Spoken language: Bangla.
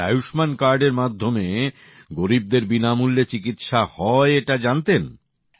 আর আয়ুষ্মান কার্ডের মাধ্যমে গরীবদের বিনামূল্যে চিকিৎসা হয় এটা জানতেন